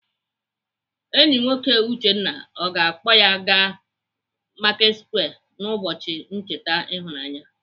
Enyi nwoke Uchenna ọ ga-akpọ ya aga Marketsquare n'ụbọchi ncheta ịhụnanya?